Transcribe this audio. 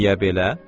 Niyə belə?